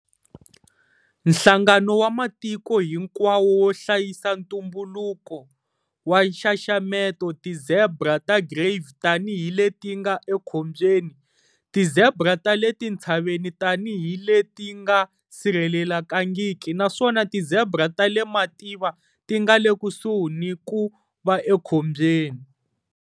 Nhlangano wa Matiko Hinkwawo wo Hlayisa Ntumbuluko IUCN, wu xaxameta ti-zebra ta Grévy tanihi leti nga ekhombyeni, ti-zebra ta le tintshaveni tanihi leti nga sirhelelekangiki naswona ti-zebra ta le mativa ti nga le kusuhi ni ku va ekhombyeni.